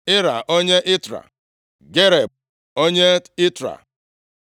Ira onye Itra, Gareb onye Itra,